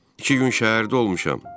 İki gün şəhərdə olmuşam.